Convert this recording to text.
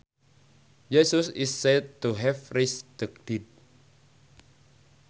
Jesus is said to have raised the dead